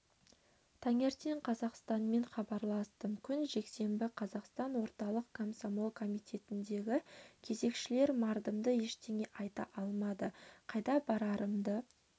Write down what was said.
таңертең қазақстанмен хабарластым күн жексенбі қазақстан орталық комсомол комитетіндегі кезекшілер мардымды ештеңе айта алмады қайда барарымды